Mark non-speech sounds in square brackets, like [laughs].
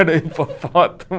Era hipofótamo. [laughs]